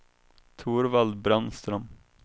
Torvald Brännström